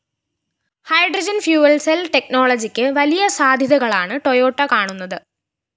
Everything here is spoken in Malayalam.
ഹൈഡ്രോജൻ ഫ്യൂയൽ സെൽ ടെക്നോളജിക്ക് വലിയ സാധ്യതകളാണ് ടൊയോട്ട കാണുന്നത്